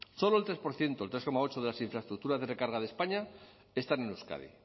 solo el tres por ciento el tres coma ocho de las infraestructuras de recarga de españa están en euskadi